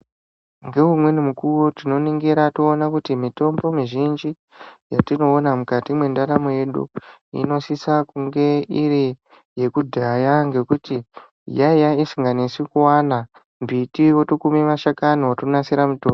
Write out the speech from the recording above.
Nge umweni mukuwo tino ningira to ona kuti mitombo mizhinji yatino ona mukati mwe ndaramo yedu ino sisa kunge iri yeku dhaya ngekuti yaiya isinga nesi kuwana mbiti woto kume mashakani woto nasira mutombo.